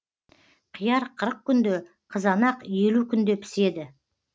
қияр қырық күнде қызанақ елу күнде піседі